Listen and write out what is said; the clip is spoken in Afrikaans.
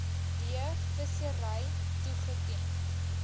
d vissery toegeken